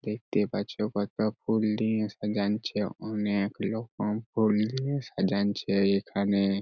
দেখতে পাচ্ছ কত ফুল দিয়ে সাজানছেঃ | অনেক রকম ফুল দিয়া সাজানছেঃ এখানে।